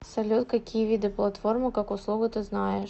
салют какие виды платформа как услуга ты знаешь